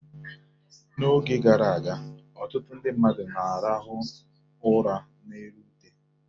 N'oge gara aga, ọtụtụ ndị mmadụ na-arahụ ụra n'elu ute.